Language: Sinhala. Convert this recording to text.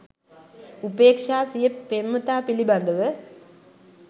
උපේක්ෂා සිය පෙම්වතා පිළිබඳව